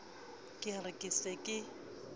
ke re ke se ke